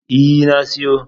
E, na siyo.